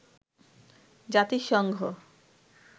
জাতিসংঘ